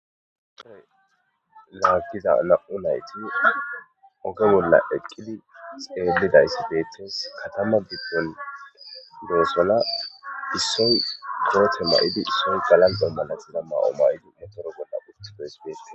Ussoy laagiza la'u nayti oge bolla eqqili xeelidayssi beettes katama gibdon doosola issoy goote ma'idi issoy galan dommana xida maa'o may'idi metoro bolla uttidoys bees.